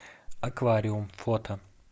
аквариум фото